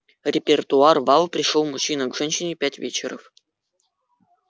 репертуар вал пришёл мужчина к женщине пять вечеров